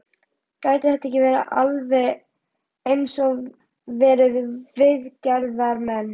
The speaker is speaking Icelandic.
Gætu þetta ekki alveg eins verið viðgerðarmenn?